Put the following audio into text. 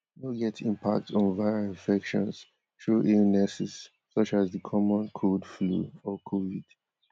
no get impact on viral infections though illnesses such as di common cold flu or covid